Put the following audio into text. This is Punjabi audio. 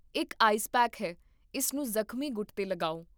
ਇੱਕ ਆਈਸ ਪੈਕ ਹੈ, ਇਸ ਨੂੰ ਜ਼ਖਮੀ ਗੁੱਟ 'ਤੇ ਲਗਾਓ